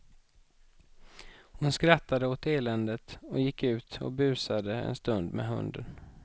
Hon skrattade åt eländet och gick ut och busade en stund med hunden.